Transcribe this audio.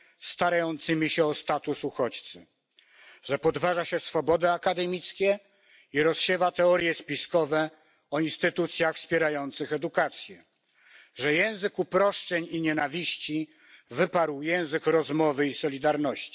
starającymi się o status uchodźcy, że podważa się swobody akademickie i rozsiewa teorie spiskowe o instytucjach wspierających edukację, że język uproszczeń i nienawiści wyparł język rozmowy i solidarności.